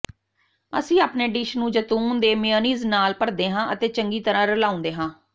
ਅਸੀਂ ਆਪਣੇ ਡਿਸ਼ ਨੂੰ ਜੈਤੂਨ ਦੇ ਮੇਅਨੀਜ਼ ਨਾਲ ਭਰਦੇ ਹਾਂ ਅਤੇ ਚੰਗੀ ਤਰ੍ਹਾਂ ਰਲਾਉਂਦੇ ਹਾਂ